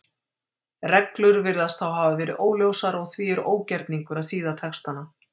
Reglur virðast þá hafa verið óljósar og því er ógerningur að þýða textana.